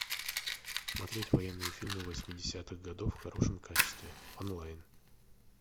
смотреть военные фильмы восьмидесятых годов в хорошем качестве онлайн